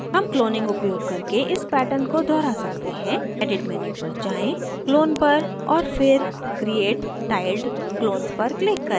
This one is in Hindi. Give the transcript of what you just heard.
हम cloning उपयोग करके इस pattern को दोहरा सकते हैं edit menu पर जाएँ clone पर और फिर create tiled clones पर click करें